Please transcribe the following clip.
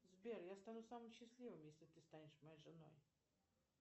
сбер я стану самым счастливым если ты станешь моей женой